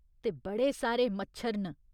ते बड़े सारे मच्छर न।